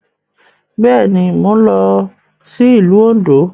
Bẹ́ẹ̀ ni, mò ń lọ sí ìlú Òǹdó.